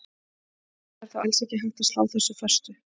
Það er þó alls ekki hægt að slá þessu föstu.